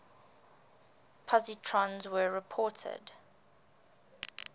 positrons were reported